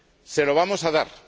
Se lo vamos a dar.